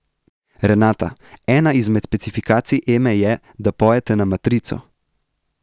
Renata, ena izmed specifikacij Eme je, da pojete na matrico.